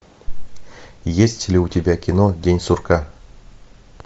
есть ли у тебя кино день сурка